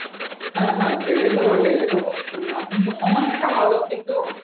হ্যাঁ হ্যাঁ সেটাও তো বটে এবং আতঙ্ক সম্মান থাকা ভালো কিন্তু